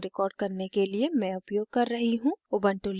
इस tutorial को record करने के लिए मैं प्रयोग कर रही हूँ